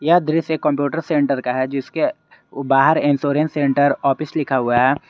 यह दृश्य एक कंप्यूटर सेंटर का है जिसके बाहर इंश्योरेंस सेंटर ऑफिस लिखा हुआ है।